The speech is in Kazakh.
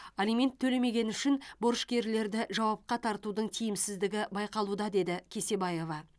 алимент төлемегені үшін борышкерлерді жауапқа тартудың тиімсіздігі байқалуда деді кесебаева